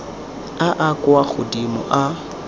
a a kwa godimo a